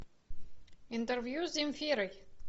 интервью с земфирой